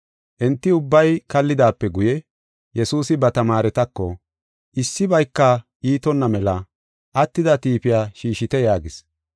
Enti ubbay kallidaape guye, Yesuusi ba tamaaretako, “Issibayka iitonna mela attida tiifiya shiishite” yaagis.